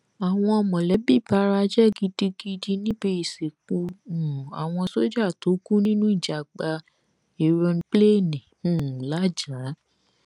àwọn mọlẹbí bara jẹ gidigidi níbi ìsìnkú um àwọn sójà tó kú nínú ìjàgbá èròǹpilẹẹni um làájá